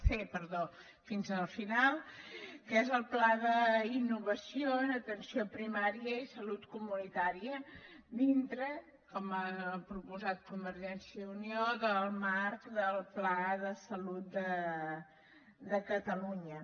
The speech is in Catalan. c fins al final que és el pla d’innovació de l’atenció primària i salut comunitària dintre com ha proposat convergència i unió del marc del pla de salut de catalunya